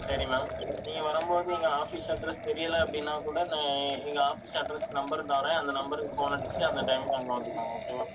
சரி ma'am நீங்க வரும்போது எங்க office address தெரியலே அப்படின்னா கூட நான் எங்க office address, number தர்றேன். அந்த number க்கு phone அடிச்சுட்டு அந்த time க்கு அங்க வந்துடுங்க okay வா